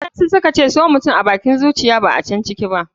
waɗansu suka ce so mutum abakin zuciyar kina a can ciki ba.